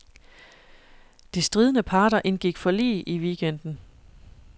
De stridende parter indgik forlig i weekenden.